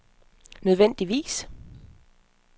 nødvendigvis